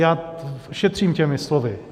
Já šetřím těmi slovy.